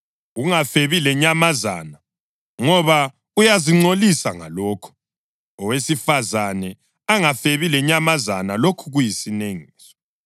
Ungafebi lenyamazana, ngoba uyazingcolisa ngalokho. Owesifazane angafebi lenyamazana, lokhu kuyisinengiso.